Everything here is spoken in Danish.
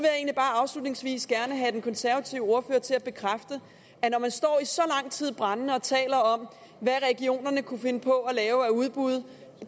bare afslutningsvis gerne have den konservative ordfører til at bekræfte når man står i så lang tid og taler brændende om hvad regionerne kunne finde på at lave af udbud